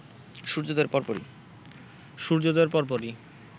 সূর্যোদয়ের পরপরই